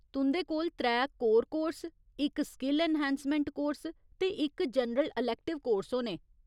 तुं'दे कोल त्रै कोर कोर्स, इक स्किल ऐन्हांसमैंट कोर्स ते इक जनरल अलैक्टिव कोर्स होने।